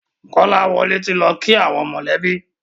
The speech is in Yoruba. Kolawole tí lọ kí àwọn mọ lẹ bí.